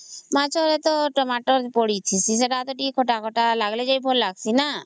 ମାଛରେ ତ Tomato ପଡିଛି ସେତ ତା ଟିକେ ଖଟା ଖଟା ଲାଗୁଚି